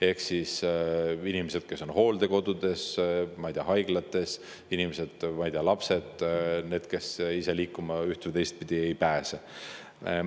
Need on inimesed, kes on hooldekodudes, ma ei tea, haiglates, lapsed ja üldse need, kes ise liikuma üht- või teistpidi ei pääse.